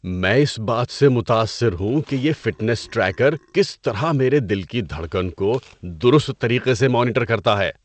میں اس بات سے متاثر ہوں کہ یہ فٹنس ٹریکر کس طرح میرے دل کی دھڑکن کو درست طریقے سے مانیٹر کرتا ہے۔